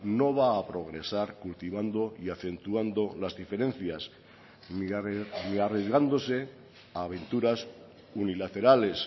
no va a progresar cultivando y acentuando las diferencias ni arriesgándose a aventuras unilaterales